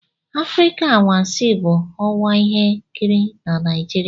Afrịka anwansi bụ ọwa ihe nkiri na Nigeria.